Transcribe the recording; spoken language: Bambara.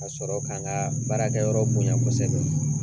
Ka sɔrɔ ka n kaa baarakɛyɔrɔ bonya kosɛbɛ.